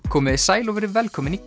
komiði sæl og verið velkomin í